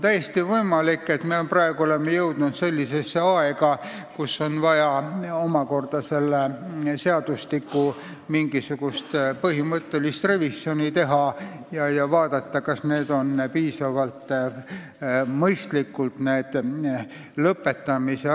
Täiesti võimalik, et me oleme praegu jõudnud sellisesse aega, kui on vaja omakorda kehtiva seadustiku revisjon teha ja vaadata, kas need lõpetamise asjad on piisavalt mõistlikult sätestatud.